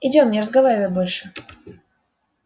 идём и не разговаривай больше